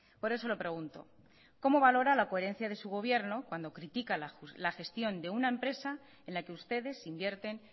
por eso lo pregunto cómo valora la coherencia de su gobierno cuando critica la gestión de una empresa en la que ustedes invierten